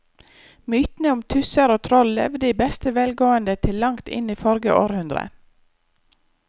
Mytene om tusser og troll levde i beste velgående til langt inn i forrige århundre.